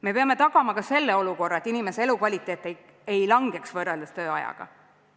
Me peame tagama ka selle olukorra, et inimese elukvaliteet ei langeks võrreldes töötamise ajaga.